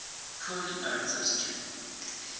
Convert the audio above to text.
wholly owned subsidiary